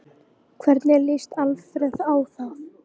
Hvernig lýst Alfreð á það?